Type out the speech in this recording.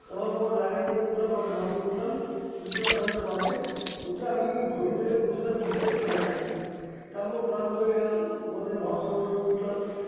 নামার পর luggage নিয়ে উঠলাম একটা bus - এ উঠলাম উত্তরাখন্ডের bus -এ উঠে আমি হরিদ্বারে পৌছলাম বিকেল সাড়ে চারটে তারপর ক্লান্ত হয়ে গেলাম ওখান থেকে ভারত সেবাশ্রমে উঠলাম